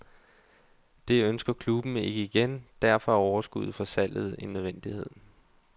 Det ønsker klubben ikke igen, derfor er overskuddet fra salget en nødvendighed.